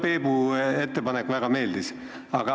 Mulle Peebu ettepanek väga meeldib.